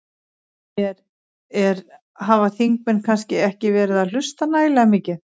Er, er, hafa þingmenn kannski ekki verið að hlusta nægilega mikið?